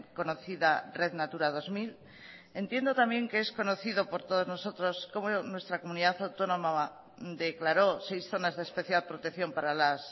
conocida red natura dos mil entiendo también que es conocido por todos nosotros como nuestra comunidad autónoma declaró seis zonas de especial protección para las